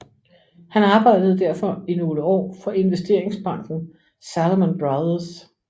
Han arbejdede derfor i nogle år for investeringsbanken Salomon Brothers